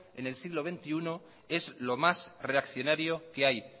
en el siglo veintiuno es lo más reaccionario que hay